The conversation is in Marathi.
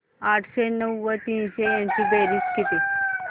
आठशे नऊ व तीनशे यांची बेरीज किती